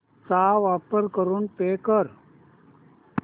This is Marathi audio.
चा वापर करून पे कर